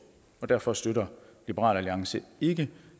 og derfor støtter liberal alliance ikke